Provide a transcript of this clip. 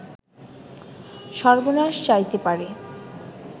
সর্বনাশ চাইতে পারে